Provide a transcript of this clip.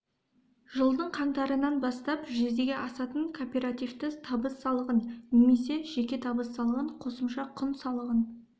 жылдың қаңтарынан бастап жүзеге асатын корпоративті табыс салығын немесе жеке табыс салығын қосымша құн салығын